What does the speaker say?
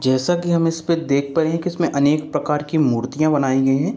जैसा की हम इस पे देखते है कि अनेक प्रकार की मुर्तिया बनाई गए हैं।